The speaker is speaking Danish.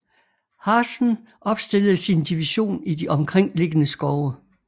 Hazen opstillede sin division i de omkringliggende skove